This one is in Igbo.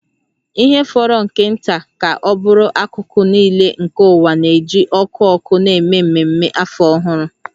Ihe fọrọ nke nta ka ọ bụrụ akụkụ nile nke ụwa na-eji ọkụ ọkụ na-eme ememe Afọ Ọhụrụ